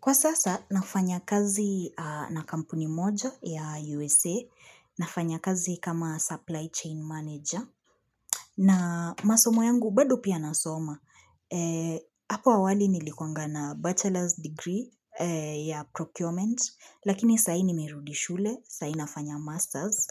Kwa sasa, nafanya kazi na kampuni moja ya USA, nafanya kazi kama ''supply chain manager'', na masomo yangu bado pia nasoma. Apo awali nilikuwanga na ''bachelor's degree'' ya ''procurement'', lakini sai nimirudi shule, sai nafanya ''master's'',